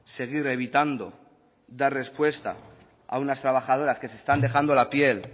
seguir evitando dar respuesta a unas trabajadoras que se están dejándola piel